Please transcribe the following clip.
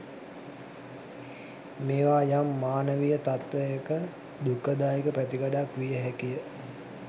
මේවා යම් මානවීය තත්ත්වයක දුක්ඛදායක පැතිකඩක් විය හැකිය.